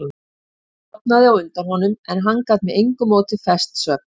Hún sofnaði á undan honum en hann gat með engu móti fest svefn.